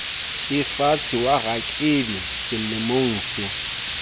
efatshe wa rakebi selemong se